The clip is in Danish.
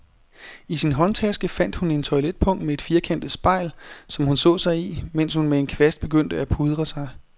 I sin håndtaske fandt hun et toiletpung med et firkantet spejl, som hun så sig i, mens hun med en kvast begyndte at pudre sig.